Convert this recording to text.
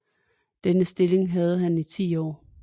Denne stilling havde han i 10 år